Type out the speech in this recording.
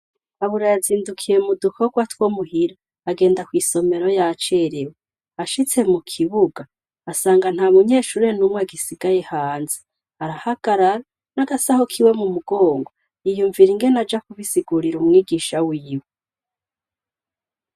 Kabura yazindukiye mu dukorwa two muhira agenda kw'isomero yacerewe ashitse mu kibuga asanga nta munyeshure n'umwe agisigaye hanze, arahagarara n'agasaho kiwe mu mugongo yiyumvira ingene aja kubisigurira umwigisha wiwe.